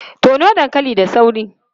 Tono dankali da sauri!